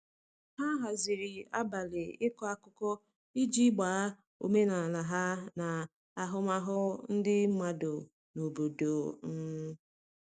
ha haziri abali iko akụkụ iji gbaa omenala ha na ahụmahụ ndi madụ n'obodo um